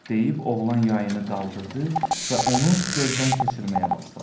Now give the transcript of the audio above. deyib oğlan yayını qaldırdı və onu gözdən keçirməyə başladı.